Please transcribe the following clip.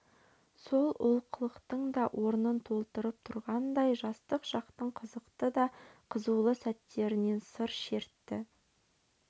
сол олқылықтың да орнын толтырып тұрғандай жастық шақтың қызықты да қызулы сәттерінен сыр шертті